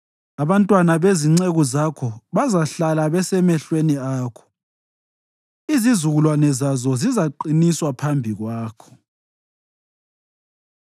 Abantwana bezinceku zakho bazahlala besemehlweni akho; izizukulwane zazo zizaqiniswa phambi kwakho.”